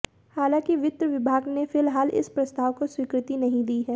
हालांकि वित्त विभाग ने फिलहाल इस प्रस्ताव को स्वीकृति नहीं दी है